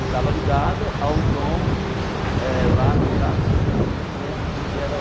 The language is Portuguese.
E estava ligado ao dom, eh lá no caso, nem lembro quem que era...